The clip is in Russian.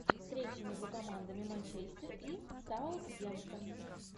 встреча между командами манчестер и саутгемптон